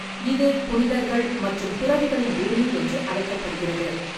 இது புனிதர்கள் மற்றும் துறவிகளின் பூமி என்று அழைக்கப்பட்டது.